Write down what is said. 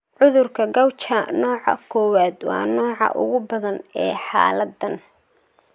Cudurka Gaucher nooca kowad waa nooca ugu badan ee xaaladdan.